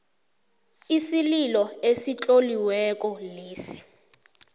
isililo esitloliweko leso